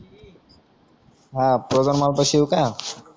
हा